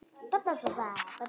En við sitjum hér